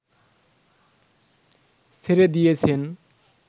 ছেড়ে দিয়েছেন